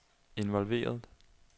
involveret